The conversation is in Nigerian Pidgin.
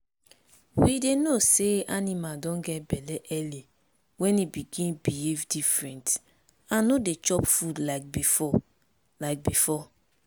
we dey know say animal don get belle early when e begin behave different and no dey chop food like before like before